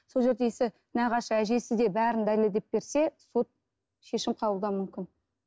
сол жерде нағашы әжесі де бәрін дәлелдеп берсе сот шешім қабылдауы мүмкін